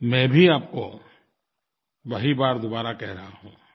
मैं भी आपको वही बात दोबारा कह रहा हूँ